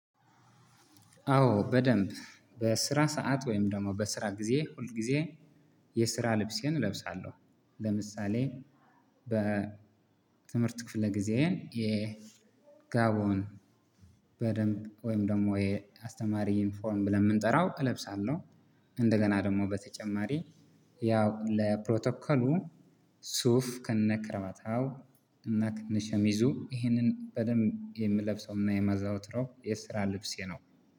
አዎ በደንብ በስራ ሰዓት ወይም ደግሞ በስራ ጊዜ ሁል ጊዜ የስራ ልብሴን እለብሳለሁ። ለምሳሌ በ ትምህርት ክፍለ ጊዜዬ የ ጋቦን በደንብ ወይም ደግሞ የአስተማሪ ኢንፎርም ብለን የምንጠራው እለብሳለሁ። እንደገና ደግሞ በተጨማሪ ያው ለፕሮቶከሉ ሱፍ ከነ ክረማታው እና ከነሸሚዙ ይህንን በደንብ የምለብሰውና የማዘወትረው የስራ ልብሴ ነው።